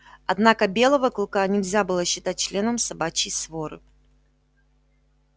однако белого клыка нельзя было считать членом собачьей своры